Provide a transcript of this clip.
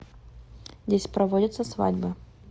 здесь проводятся свадьбы